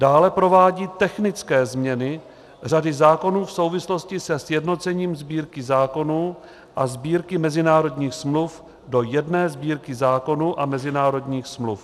Dále provádí technické změny řady zákonů v souvislosti se sjednocením Sbírky zákonů a Sbírky mezinárodních smluv do jedné Sbírky zákonů a mezinárodních smluv.